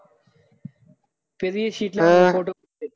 பெரிய sheet ல photo பிடிச்சி